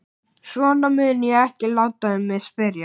Svona mun ég ekki láta um mig spyrjast.